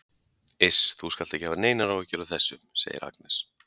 Iss, þú skalt ekki hafa neinar áhyggjur af þessu, segir Agnes.